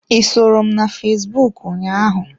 I soro m na fesbụụk ụnyaahụ?